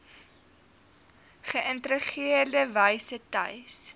geïntegreerde wyse tuis